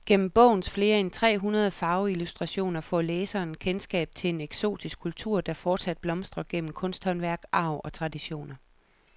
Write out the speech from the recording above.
Gennem bogens flere end tre hundrede farveillustrationer får læseren kendskab til en eksotisk kultur, der fortsat blomstrer gennem kunsthåndværk, arv og traditioner.